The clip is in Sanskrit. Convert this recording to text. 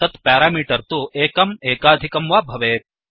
तत् प्यारामीटर् तु एकम् एकाधिकं वा भवेत्